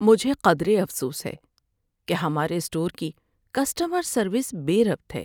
مجھے قدرے افسوس ہے کہ ہمارے اسٹور کی کسٹمر سروس بے ربط ہے۔